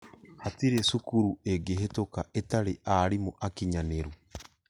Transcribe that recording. Hatirĩ cukuru ingĩhetũka itari arimũakinyanĩru